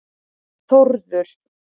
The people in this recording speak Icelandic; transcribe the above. Þórður